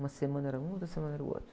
Uma semana era um, outra semana era o outro.